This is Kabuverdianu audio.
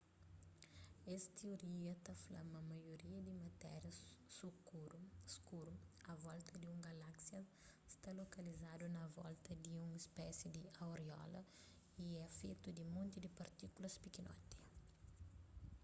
es tioria ta fla ma maioria di matéria skuru a volta di un galáksia sta lokalizadu na volta di un spési di auréola y é fetu di monti partíkulas pikinoti